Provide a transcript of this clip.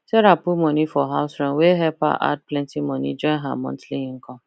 sarah put money for house rent wey help her add plenty money join her monthly income